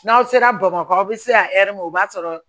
N'aw sera bamakɔ aw bɛ se ka ma o b'a sɔrɔ